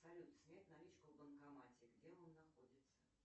салют снять наличку в банкомате где он находится